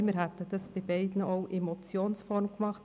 bei beiden hätten wir das auch in Motionsform getan.